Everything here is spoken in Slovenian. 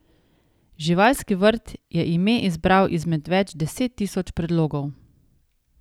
Živalski vrt je ime izbral izmed več deset tisoč predlogov.